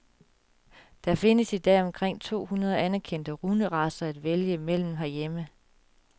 Der findes i dag omkring to hundrede anerkendte hunderacer at vælge imellem herhjemme.